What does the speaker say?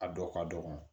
A dɔw ka dɔgɔ